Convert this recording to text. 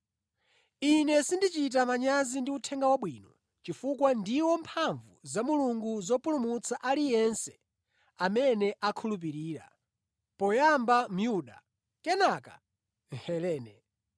Ine sindichita manyazi ndi Uthenga Wabwino chifukwa ndiwo mphamvu za Mulungu zopulumutsa aliyense amene akhulupirira, poyamba Myuda, kenaka Mhelene.